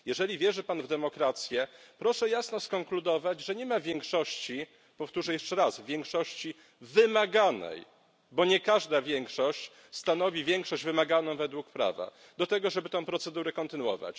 Jeżeli wierzy Pan w demokrację, proszę jasno skonkludować, że nie ma większości powtórzę jeszcze raz większości wymaganej, bo nie każda większość stanowi większość wymaganą według prawa do tego, żeby tę procedurę kontynuować.